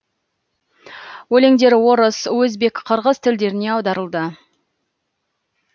өлеңдері орыс өзбек қырғыз тілдеріне аударылды